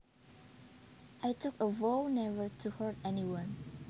I took a vow never to hurt anyone